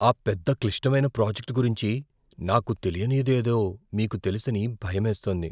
ఆ పెద్ద, క్లిష్టమైన ప్రాజెక్ట్ గురించి నాకు తెలియనిది ఏదో మీకు తెలుసని భయమేస్తోంది.